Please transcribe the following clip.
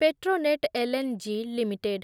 Petronet LNG limited